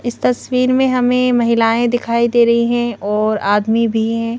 इस तस्वीर में हमें महिलाएं दिखाई दे रही हैं और आदमी भी है।